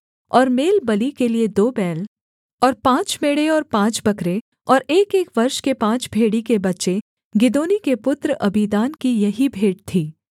और मेलबलि के लिये दो बैल और पाँच मेढ़े और पाँच बकरे और एकएक वर्ष के पाँच भेड़ी के बच्चे गिदोनी के पुत्र अबीदान की यही भेंट थी